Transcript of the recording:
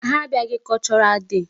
Ha abịaghị cultural day.